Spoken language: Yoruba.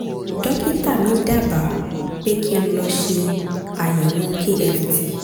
dókítà mi dábàá pé kí n lọ ṣe àyẹ̀wò kft